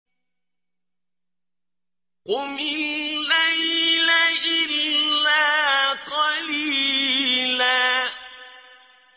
قُمِ اللَّيْلَ إِلَّا قَلِيلًا